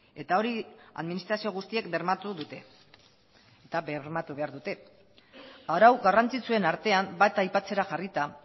eta hori administrazio guztiek bermatu dute eta bermatu behar dute arau garrantzitsuen artean bat aipatzera jarrita